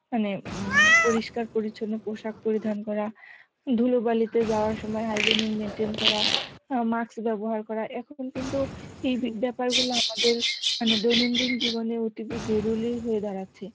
মানে উম পরিষ্কার পরিছন্ন পোশাক পরিধান করা, ধুলোবালিতে যাওয়ার সময় hygienic maintain করা অ্যাঁ mask ব্যবহার করা এখন কিন্তু এই বে~ বেপার গুলো আমাদের মানে দৈনন্দিন জীবনে অতীব জরুরি হয়ে দাঁড়াচ্ছে